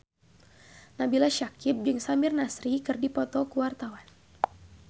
Nabila Syakieb jeung Samir Nasri keur dipoto ku wartawan